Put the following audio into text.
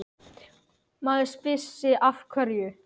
Maður spyr sig af hverju?